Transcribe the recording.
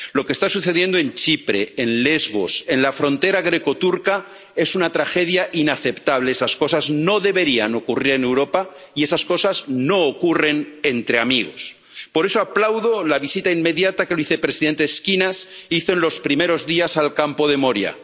Lo que está sucediendo en Chipre, en Lesbos, en la frontera greco turca, es una tragedia inaceptable. Esas cosas no deberían ocurrir en Europa y esas cosas no ocurren entre amigos. Por eso aplaudo la visita inmediata que el vicepresidente Schinas hizo en los primeros días al campo de Moria.